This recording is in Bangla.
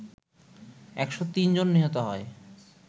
১০৩ জন নিহত হয়